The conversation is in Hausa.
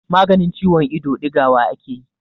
maganin ciwon ido digawa ake yi